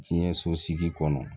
Diɲɛ so sigi kɔnɔ